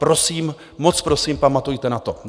Prosím, moc prosím, pamatujte na to.